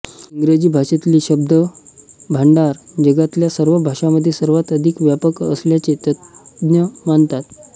इंग्रजी भाषेतले शब्दभांडार जगातल्या सर्व भाषांमधे सर्वांत अधिक व्यापक असल्याचे तज्ञ मानतात